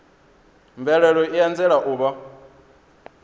mvelelo i anzela u vha